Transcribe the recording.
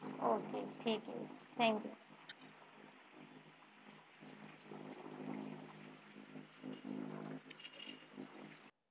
okay ठीक आहे thank you